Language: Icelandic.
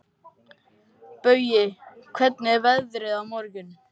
Baui, hvernig er veðrið á morgun?